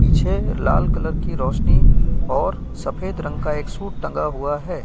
पीछे लाल कलर की रोशनी और सफेद रंग का एक सूट टंगा हुआ है।